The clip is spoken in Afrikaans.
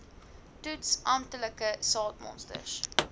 toets amptelike saadmonsters